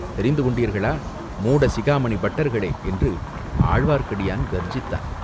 தெரிந்து கொண்டீர்களா, மூடசிகாமணி பட்டர்களே!" என்று ஆழ்வார்க்கடியான் கர்ஜித்தான்.